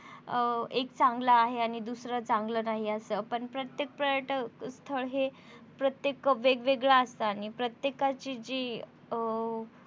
अं एक चांगलं आहे दुसरं चांगलं नाही असं पण प्रत्येक पर्यटक स्थळ हे प्रत्येक वेगवेगळं असत आणि प्रत्येकाची जी अ